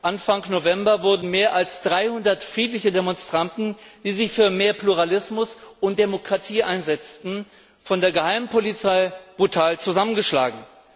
Anfang November wurden mehr als 300 friedliche Demonstranten, die sich für mehr Pluralismus und Demokratie einsetzten, von der Geheimpolizei brutal zusammengeschlagen.